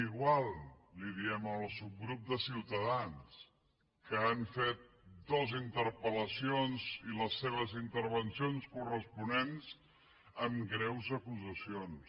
igual ho diem al subgrup de solidaritat que han fet dues interpel·lacions i les seves intervencions corresponents amb greus acusacions